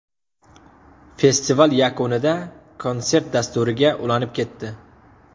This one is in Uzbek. Festival yakunida konsert dasturiga ulanib ketdi.